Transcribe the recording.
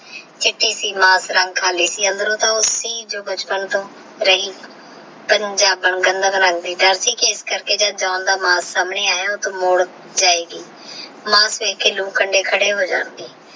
ਚਿਤਿ ਏਮਾ ਰੰਗ ਖਾਲੀ ਸੀ ਅੰਦਰੋ ਥ ਸੀ ਓਹ ਬਚਪਨ ਟੋਹ ਰਹੀ ਪਰ ਦਰ ਸੀ ਕੀ ਇਸ ਕਰਕੇ ਜੇ ਜਾਨ ਦਾ ਮਾਸ ਸਾਮਨੇ ਯਾ ਤੇਹ ਜਾਏਗੀ ਮਾਸ ਦੇਖ ਕੰਡੇ ਕਹੇ ਹੋ ਜਾਨ